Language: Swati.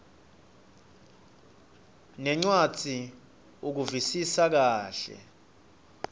nencwadzi ukuvisisa kahle